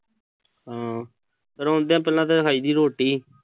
ਹਮ ਆਉਂਦਿਆਂ ਪਹਿਲਾਂ ਤਾਂ ਖਾਈ ਦੀ ਰੋਟੀ ਐ।